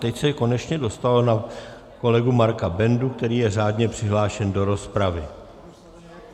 Teď se konečně dostalo na kolegu Marka Bendu, který je řádně přihlášen do rozpravy.